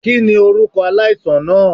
Kini orukọ alaisan naa?